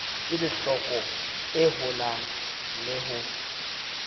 kelohloko e holang le ho